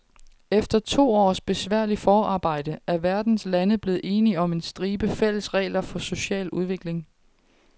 Efter to års besværligt forarbejde er verdens lande blevet enige om en stribe fælles regler for social udvikling.